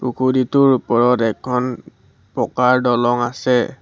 পুখুৰীটোৰ ওপৰত এখন পকাৰ দলং আছে।